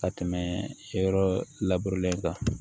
Ka tɛmɛ yɔrɔ labure kan